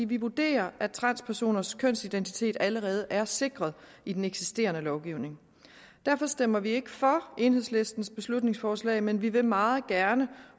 vi vurderer at transpersoners kønsidentitet allerede er sikret i den eksisterende lovgivning derfor stemmer vi ikke for enhedslistens beslutningsforslag men vi vil meget gerne